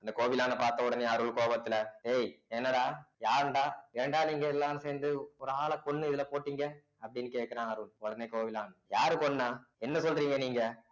இந்த கோவிலான்னு பார்த்தவுடனே அருள் கோபத்துல ஏய் என்னடா யாருடா ஏன்டா நீங்க எல்லாம் சேர்ந்து ஒரு ஆளைக் கொன்னு இதுல போட்டீங்க அப்படின்னு கேட்கிறான் அருள் உடனே கோவிலான் யாரு கொன்னா என்ன சொல்றீங்க நீங்க